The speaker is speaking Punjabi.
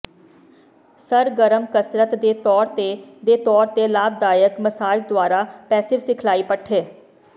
ਸਰਗਰਮ ਕਸਰਤ ਦੇ ਤੌਰ ਤੇ ਦੇ ਤੌਰ ਤੇ ਲਾਭਦਾਇਕ ਮਸਾਜ ਦੁਆਰਾ ਪੈਸਿਵ ਸਿਖਲਾਈ ਪੱਠੇ